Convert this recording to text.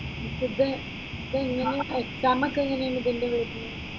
ഇപ്പ ഇത് ഇതെങ്ങനെയാ എക്സാം ഒക്കെ എങ്ങനെയാ ഇതിന്റേത് വരുന്നത്?